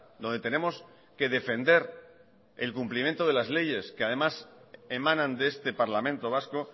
donde tenemos que defender el cumplimiento de las leyes que además emanan de este parlamento vasco